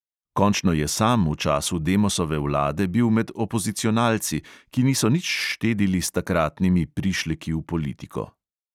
Končno je sam v času demosove vlade bil med opozicionalci, ki niso nič štedili s takratnimi prišleki v politiko.